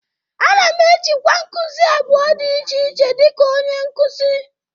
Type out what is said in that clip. Ana m ejikwa nkuzi abụọ dị iche iche dịka onye nkuzi